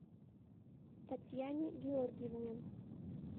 татьяне георгиевне